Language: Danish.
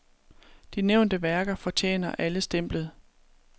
De nævnte værker fortjener alle stemplet.